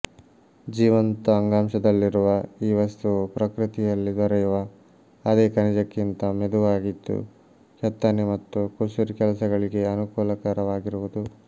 ಜೀವಂತ ಅಂಗಾಂಶದಲ್ಲಿರುವ ಈ ವಸ್ತುವು ಪ್ರಕೃತಿಯಲ್ಲಿ ದೊರೆಯುವ ಅದೇ ಖನಿಜಕ್ಕಿಂತ ಮೆದುವಾಗಿದ್ದು ಕೆತ್ತನೆ ಮತ್ತು ಕುಸುರಿ ಕೆಲಸಗಳಿಗೆ ಅನುಕೂಲಕರವಾಗಿರುವುದು